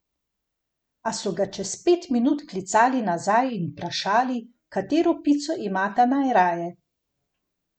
A so ga čez pet minut klicali nazaj in vprašali, katero pico imata najraje.